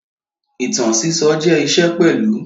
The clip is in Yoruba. Ìtàn sísọ jẹ́ iṣẹ́ pẹ̀lú